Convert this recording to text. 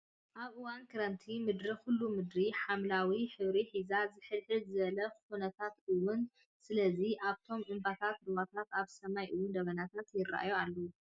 ኣብ እዋን ክረምቲ ምድሪ ኩሉ ምድሪ ሓምላዊ ሕብሪ ሒዛ ዝሕልሕ ዝበለ ኩነታት እውን። ስለዚ ኣብቶም እምባታት ሩባታት ኣብ ሰማይ እውን ደበናታት ይርኣዩ ኣለው።